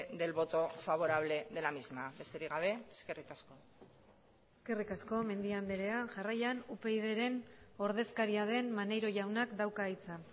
del voto favorable de la misma besterik gabe eskerrik asko eskerrik asko mendia andrea jarraian upydren ordezkaria den maneiro jaunak dauka hitza